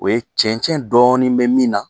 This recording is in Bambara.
O ye cɛncɛn dɔɔnin bɛ min na